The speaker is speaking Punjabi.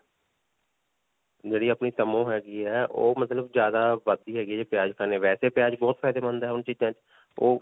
ਜਿਹੜੀ ਅਪਨੀ ਤਮੋ ਹੈਗੀ ਹੈ. ਓਹ ਮਤਲਬ ਜਿਆਦਾ ਵਧਦੀ ਹੈਗੀ ਹੈ ਜੇ ਪਿਆਜ ਖਾਨੇ. ਵੈਸੇ ਪਿਆਜ ਬਹੁਤ ਫ਼ਾਯਦੇਮੰਦ ਹੈ ਹੁਣ ਚੀਜਾਂ 'ਚ. ਓਹ